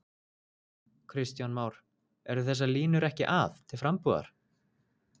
Kristján Már: Eru þessar línur ekki að, til frambúðar?